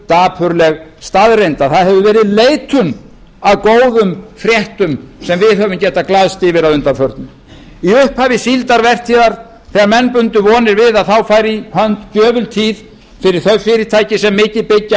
dapurleg staðreynd að það hefur verið leitun að góðum fréttum sem við höfum getað glaðst yfir að undanförnu í upphafi síldarvertíðar sem menn bundu vonir við að þá færi í hönd gjöful tíð fyrir þau fyrirtæki sem mikið byggja